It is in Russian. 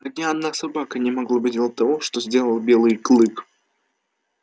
ни одна собака не могла бы сделать того что сделал белый клык